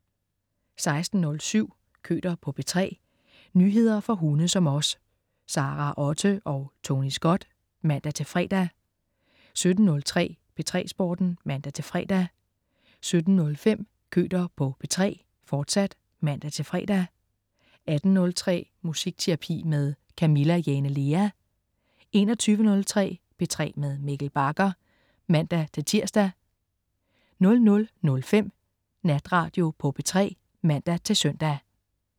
16.07 Køter på P3. Nyheder for hunde som os. Sara Otte og Tony Scott (man-fre) 17.03 P3 Sporten (man-fre) 17.05 Køter på P3, fortsat (man-fre) 18.03 Musikterapi med Camilla Jane Lea 21.03 P3 med Mikkel Bagger (man-tirs) 00.05 Natradio på P3 (man-søn)